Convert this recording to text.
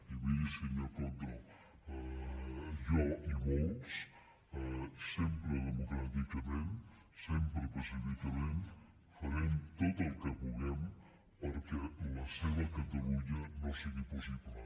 i miri senyor coto jo i molts sempre democràticament sempre pacíficament farem tot el que puguem perquè la seva catalunya no sigui possible